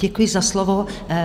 Děkuji za slovo.